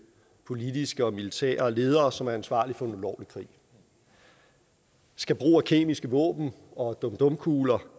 politiske og militære ledere som er ansvarlige for en ulovlig krig skal brug af kemiske våben og dum dum kugler